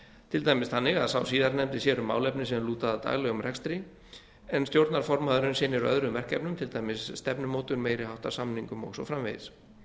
til dæmis þannig að sá síðarnefndi sér um málefni sem lúta að daglegum rekstri en stjórnarformaðurinn sinnir öðrum verkefnum til dæmis stefnumótun meiri háttar samningum og svo framvegis